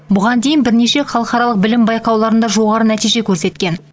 бұған дейін бірнеше халықаралық білім байқауларында жоғары нәтиже көрсеткен